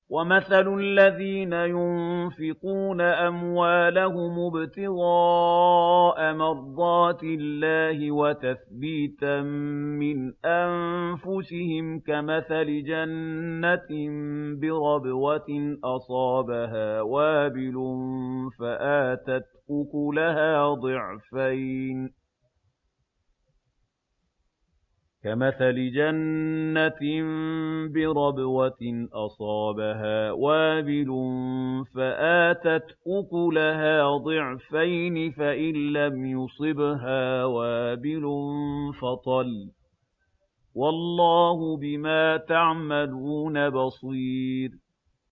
وَمَثَلُ الَّذِينَ يُنفِقُونَ أَمْوَالَهُمُ ابْتِغَاءَ مَرْضَاتِ اللَّهِ وَتَثْبِيتًا مِّنْ أَنفُسِهِمْ كَمَثَلِ جَنَّةٍ بِرَبْوَةٍ أَصَابَهَا وَابِلٌ فَآتَتْ أُكُلَهَا ضِعْفَيْنِ فَإِن لَّمْ يُصِبْهَا وَابِلٌ فَطَلٌّ ۗ وَاللَّهُ بِمَا تَعْمَلُونَ بَصِيرٌ